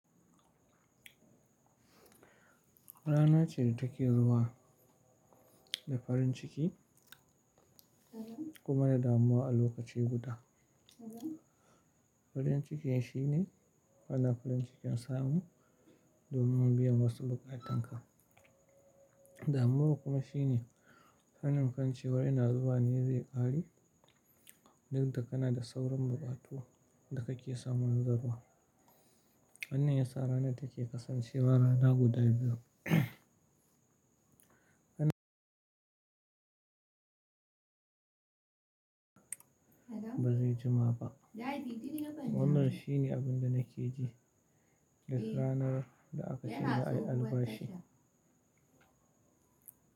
Rana ce da take zuwa da farin ciki kuma da damuwa a lokaci guda. Farin cikin shine kana farin cikin samu domin biyan wasu bukatanka. Damuwa kuma shine hannun kan cewa rina zuwa ne zai ƙare, duk da kana da sauran buƙatu da kake samun zarma. Anin yasa rana take kasancewa rana guda biyar. Ba zai jima ba. Wannan shine abin da nake ji duk rana da aka shirya albashi.